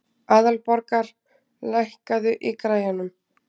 Aðalborgar, lækkaðu í græjunum.